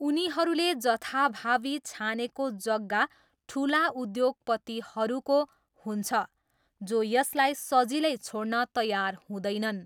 उनीहरूले जथाभावी छानेको जग्गा ठुला उद्योगपतिहरूको हुन्छ जो यसलाई सजिलै छोड्न तयार हुँदैनन्।